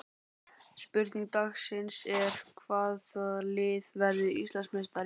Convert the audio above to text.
Spurning dagsins er: Hvaða lið verður Íslandsmeistari?